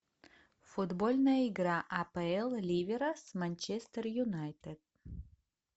футбольная игра апл ливера с манчестер юнайтед